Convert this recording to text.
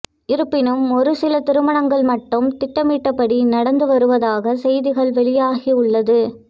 இருப்பினும் ஒரு சில திருமணங்கள் மட்டும் திட்டமிட்டபடி நடந்து வருவதாக செய்திகள் வெளியாகி உள்ளது